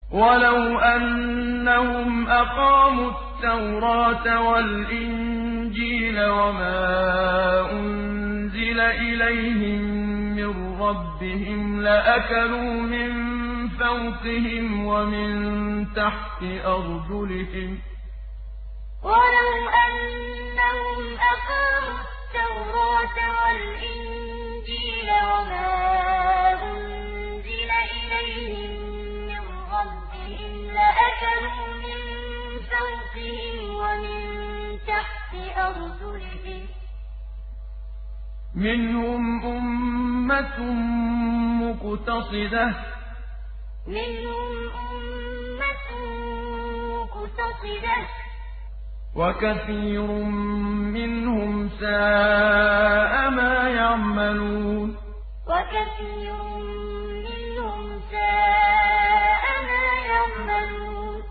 وَلَوْ أَنَّهُمْ أَقَامُوا التَّوْرَاةَ وَالْإِنجِيلَ وَمَا أُنزِلَ إِلَيْهِم مِّن رَّبِّهِمْ لَأَكَلُوا مِن فَوْقِهِمْ وَمِن تَحْتِ أَرْجُلِهِم ۚ مِّنْهُمْ أُمَّةٌ مُّقْتَصِدَةٌ ۖ وَكَثِيرٌ مِّنْهُمْ سَاءَ مَا يَعْمَلُونَ وَلَوْ أَنَّهُمْ أَقَامُوا التَّوْرَاةَ وَالْإِنجِيلَ وَمَا أُنزِلَ إِلَيْهِم مِّن رَّبِّهِمْ لَأَكَلُوا مِن فَوْقِهِمْ وَمِن تَحْتِ أَرْجُلِهِم ۚ مِّنْهُمْ أُمَّةٌ مُّقْتَصِدَةٌ ۖ وَكَثِيرٌ مِّنْهُمْ سَاءَ مَا يَعْمَلُونَ